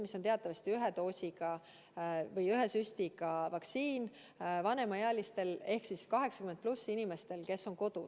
See on teatavasti ühe doosiga või ühe süstiga vaktsiin ja sobib hästi vanemaealistele ehk vanuses 80+ inimestele, kes elavad kodus.